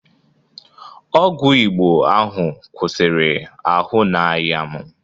Ọgwụ Igbo ahụ kwụsịrị ahụ na-aya m